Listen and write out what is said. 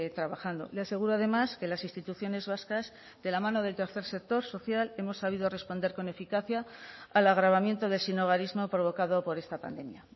trabajando le aseguro además que las instituciones vascas de la mano del tercer sector social hemos sabido responder con eficacia al agravamiento del sinhogarismo provocado por esta pandemia